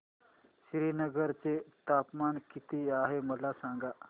श्रीनगर चे तापमान किती आहे मला सांगा